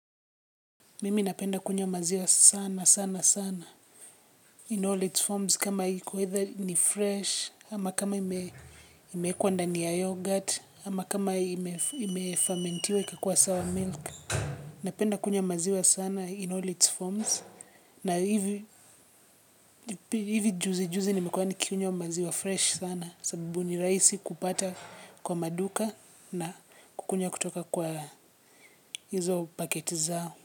Mimi napenda kunywa maziwa sana sana sana in all its forms kama iki whether ni fresh ama kama imewekwa ndani ya yoghurt ama kama imefarmentiwa ikakua sour milk napenda kunywa maziwa sana in all its forms na hivi juzi juzi nimekuwa nikikunywa maziwa fresh sana sababu ni raisi kupata kwa maduka na kukunywa kutoka kwa hizo paketi zao.